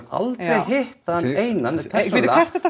aldrei hitt hann einan bíddu hvert ertu